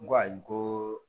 N ko ayi ko